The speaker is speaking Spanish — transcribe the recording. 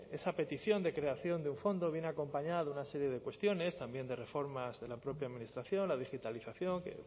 esa petición de creación de un fondo viene acompañada de una serie de cuestiones también de reformas de la propia administración la digitalización que